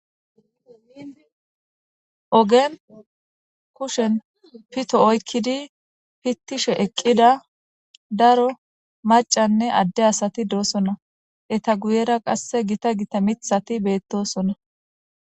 Ogen kushen pito oykkidi pittishe eqqida daro macanne adde asati doosona eta guyera qasse gita gita mithati beettosona.